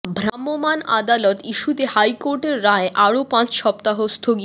ভ্রাম্যমাণ আদালত ইস্যুতে হাইকোর্টের রায় আরও পাঁচ সপ্তাহ স্থগিত